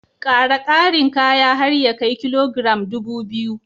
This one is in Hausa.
Ƙara ƙarin kaya har ya kai kilogiram ɗubu biyu